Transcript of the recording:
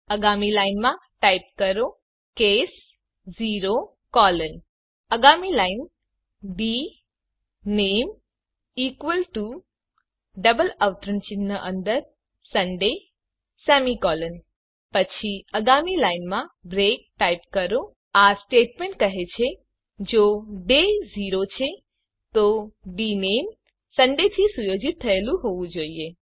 આગામી લાઇનમાં ટાઇપ કરો કેસ 0 કોલન આગામી line dname equal to double અવતરણ ચિહ્ન અંદર સુંદય સેમી કોલન પછી આગામી લાઈનમાં બ્રેક ટાઇપ કરો આ સ્ટેટમેન્ટ કહે છે કે જો ડે 0 છે તો ડીનેમ સુંદય થી સુયોજિત થયેલ હોવું જોઈએ